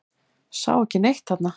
Sá ekki neitt þarna.